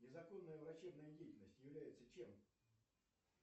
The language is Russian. незаконная врачебная деятельность является чем